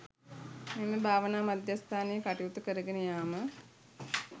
මෙම භාවනා මධ්‍යස්ථානයේ කටයුතු කරගෙන යාම